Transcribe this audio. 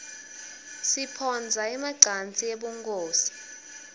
siphotsa emacansi ebunkhosi